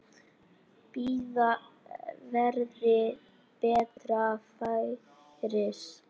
Bíða verði betra færis.